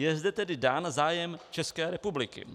Je zde tedy dán zájem České republiky.